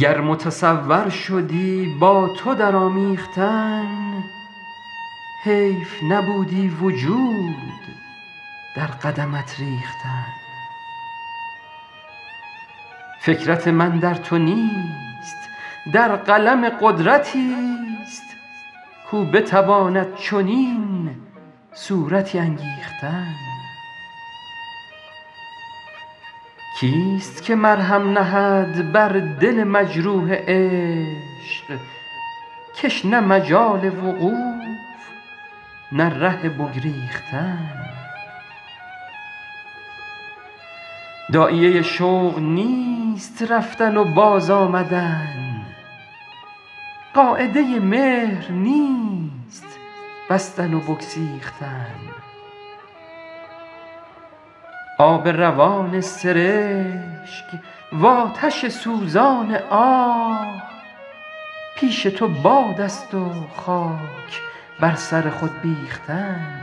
گر متصور شدی با تو در آمیختن حیف نبودی وجود در قدمت ریختن فکرت من در تو نیست در قلم قدرتی ست کاو بتواند چنین صورتی انگیختن کی ست که مرهم نهد بر دل مجروح عشق که ش نه مجال وقوف نه ره بگریختن داعیه شوق نیست رفتن و باز آمدن قاعده مهر نیست بستن و بگسیختن آب روان سرشک وآتش سوزان آه پیش تو باد است و خاک بر سر خود بیختن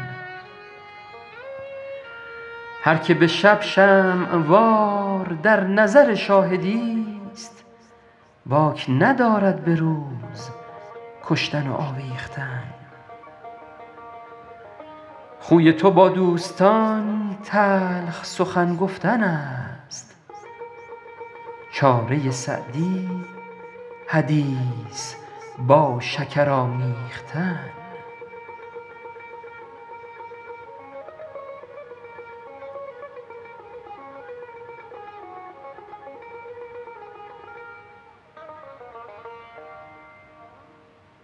هر که به شب شمع وار در نظر شاهدی ست باک ندارد به روز کشتن و آویختن خوی تو با دوستان تلخ سخن گفتن است چاره سعدی حدیث با شکر آمیختن